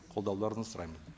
қолдауларыңызды сұраймын